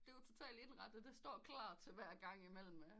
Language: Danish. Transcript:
Det er jo total indrettet det står klar til hver gang imellem